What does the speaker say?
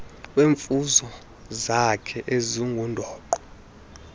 ngeemfuno zakhe ezingundoqo